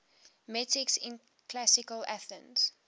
metics in classical athens